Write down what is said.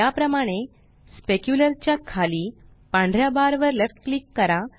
याप्रमाणे स्पेक्युलर च्या खाली पांढऱ्या बार वर लेफ्ट क्लिक करा